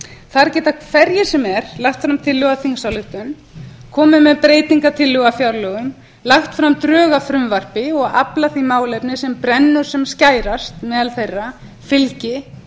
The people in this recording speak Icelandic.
þar geta hverjir sem er lagt fram tillögu að þingsályktun komið með breytingartillögur að fjárlögum lagt fram drög að frumvarpi og aflað því málefni sem brennur sem skærast meðal þeirra fylgi